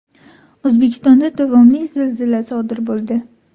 O‘zbekistonda davomli zilzila sodir bo‘ldi.